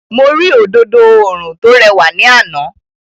Mo rí òdodo oòrùn tó rẹwà ní àná.